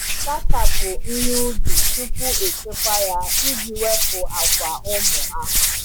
Sachapụ ihe ubi tupu echekwa ya iji wepụ akwa ụmụ ahụhụ.